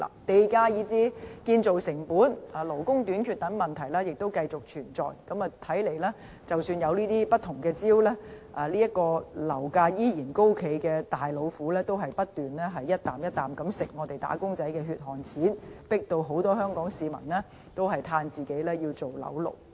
地價、建造成本以至勞工短缺等問題繼續存在，看來即使有不同招數，樓價持續高企這隻"大老虎"仍不斷吃掉"打工仔"的血汗錢，迫使很多香港市民慨歎自己要做"樓奴"。